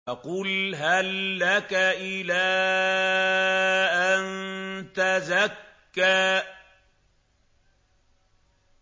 فَقُلْ هَل لَّكَ إِلَىٰ أَن تَزَكَّىٰ